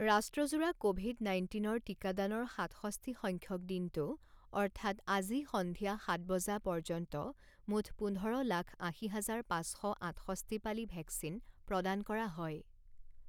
ৰাষ্ট্ৰজোৰা Covid নাইণ্টিনৰ টিকাদানৰ সাতষষ্ঠি সংখ্যক দিনটো অৰ্থাৎ আজি সন্ধিয়া সাত বজা পৰ্যন্ত মুঠ পোন্ধৰ লাখ আশী হাজাৰ পাঁচ শ আঠষষ্ঠি পালি ভেকচিন প্ৰদান কৰা হয়।